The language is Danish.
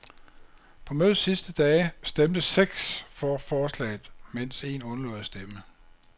På mødets sidste dage stemte seks for forslaget, mens en undlod at stemme.